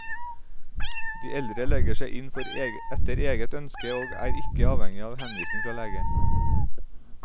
De eldre legger seg inn etter eget ønske, og er ikke avhengige av henvisning fra lege.